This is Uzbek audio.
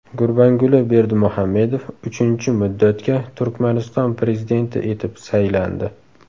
Gurbanguli Berdimuhamedov uchinchi muddatga Turkmaniston prezidenti etib saylandi.